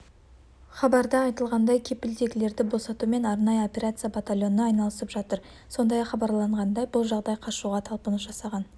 сіз сондай-ақ аталған жаңалықты мына бағамен де сатып алуыңызға болады тенге сіз кім екендігіңізді растау сілтемесіне